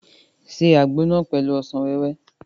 Ṣe àgbo náà pẹ̀lú ọsàn wẹ́wẹ́!